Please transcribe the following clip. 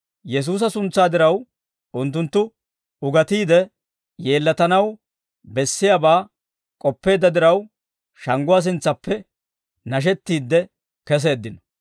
Yesuusa suntsaa diraw, unttunttu ugatiidde yeellatanaw bessiyaabaa k'oppeedda diraw, shangguwaa sintsaappe nashettiide keseeddino.